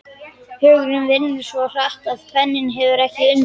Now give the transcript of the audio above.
Hugurinn vinnur svo hratt að penninn hefur ekki undan.